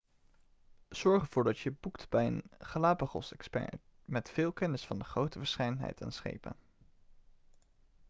zorg ervoor dat je boekt bij een galapagosexpert met veel kennis van de grote verscheidenheid aan schepen